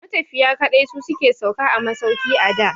Matafiya kaɗai su ke sauka a masauki a da.